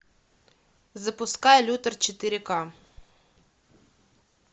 запускай лютер четыре ка